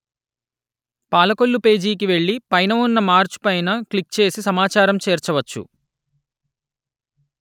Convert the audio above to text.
పాలకొల్లు పేజీకి వెళ్ళి పైన ఉన్న మార్చు పైన క్లిక్ చేసి సమాచారం చేర్చవచ్చు